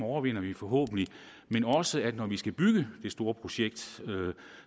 overvinder vi forhåbentlig men også at når vi skal bygge det store projekt